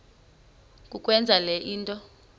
kukwenza le nto